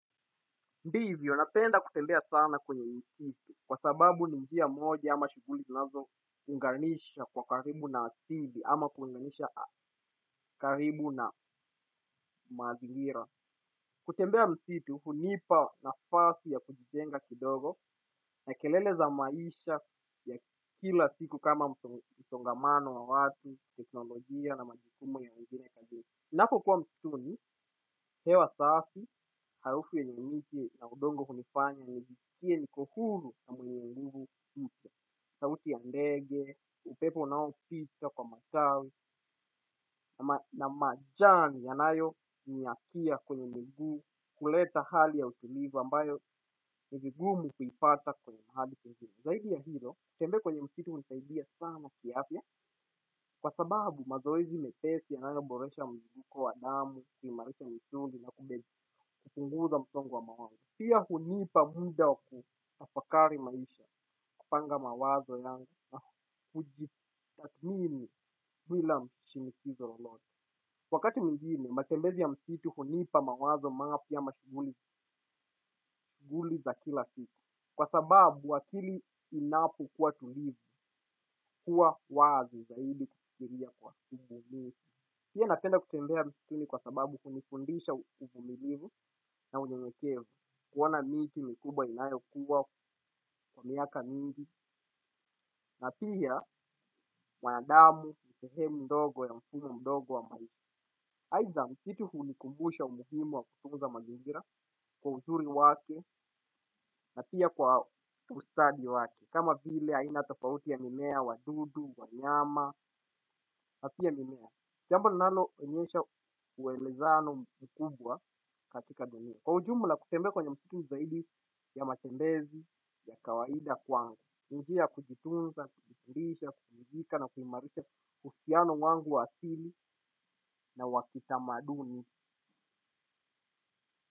Ndivyo, napenda kutembea sana kwenye msitu kwa sababu ni njia moja ama shughuli zinazo unganisha kwa karibu na asili ama kuunganisha karibu na mazingira. Kutembea msitu, hunipa nafasi ya kujijenga kidogo na kelele za maisha ya kila siku kama msongamano wa watu, teknolojia na majukumu ya wengine kazini. Ninapokuwa msituni, hewa safi, harufu yenye miti na udongo kunifanya, nijiskie niko huru na mwenye nguvu mpya, sauti ya ndege, upepo unaopita kwa matawi ama, na majani yanayonyakia kwenye mguu huleta hali ya utulivu ambayo ni vigumu kuipata kwenye ardhi tupu zaidi ya hilo, kutembea kwenye msitu hunisaidia sana kiafya, kwa sababu mazoezi mepesi yanayoboresha mzunguko wa damu, kuimarisha misuli na kumbezi, kupunguza msongo wa mawazo. Pia hunipa muda wa kutafakari maisha, kupanga mawazo yangu, na hujitathmini bila shinikizo lolote. Wakati mwingine, matembezi ya msitu hunipa mawazo mapya ama shughuli za kila siku. Kwa sababu akili inapokuwa tulivu huwa wazi zaidi kufikiria kwa ubunifu pia napenda kutembea msituni kwa sababu hunifundisha uvumilivu na unyenyekevu kuona miti mikubwa inayokuwa kwa miaka mingi na pia, wanadamu ni sehemu ndogo ya mfumo mdogo wa maisha. Aidha msitu hunikumbusha umuhimu wa kutunza mazingira kwa uzuri wake na pia kwa ustadi wake kama vile aina tofauti ya mimea, wadudu, wanyama, na pia mimea jambo linaloonyesha uelezano mkubwa katika dunia kwa ujumla kutembea kwenye msitu zaidi ya matembezi ya kawaida kwangu ni njia ya kujitunza, kubikirisha, kujibika na kuimarisha uhusiano wangu wa asili na wa kitamaduni.